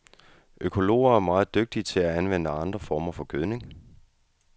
Økologerne er meget dygtige til at anvende andre former for gødning.